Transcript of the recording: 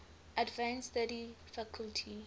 advanced study faculty